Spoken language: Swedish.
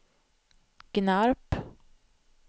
Gnarp